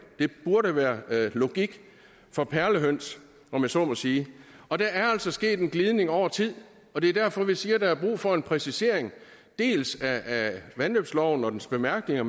det burde være logik for perlehøns om jeg så må sige og der er altså sket en glidning over tid og det er derfor vi siger at der er brug for en præcisering dels af vandløbsloven og dens bemærkninger